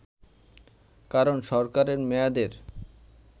কারণ সরকারের মেয়াদের